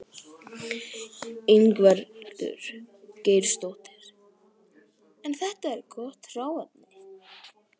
Ingveldur Geirsdóttir: En þetta er gott hráefni?